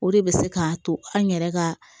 O de bɛ se k'a to an yɛrɛ ka